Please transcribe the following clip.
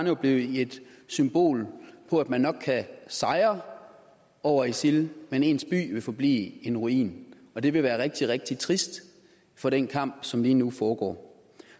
jo blive et symbol på at nok kan sejre over isil men ens by vil forblive en ruin og det vil være rigtig rigtig trist for den kamp som lige nu foregår